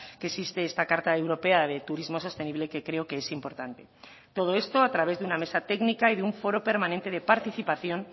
que existe esta carta europea de turismo sostenible que creo que es importante todo esto a través de una mesa técnica y de un foro permanente de participación